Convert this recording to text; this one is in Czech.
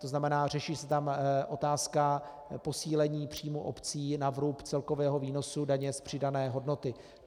To znamená, řeší se tam otázka posílení příjmů obcí na vrub celkového výnosu daně z přidané hodnoty.